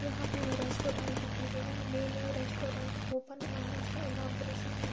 यहाँ पे हमे रेस्टोरेंट दिखाई दे रहा है। न्यू न्यू रेस्टोरेंट ओपन हुआ है। उसका इनोगुरेसन हुआ --